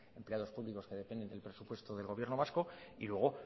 empleados públicos que dependen del presupuesto del gobierno vasco y luego